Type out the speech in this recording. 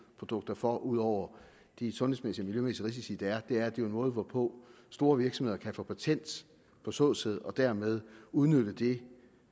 produkter for ud over de sundhedsmæssige og miljømæssige risici der er er at en måde hvorpå store virksomheder kan få patent på såsæd og dermed udnytte det